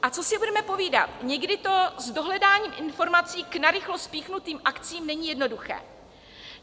A co si budeme povídat, někdy to s dohledáním informací k narychlo spíchnutým akcím není jednoduché.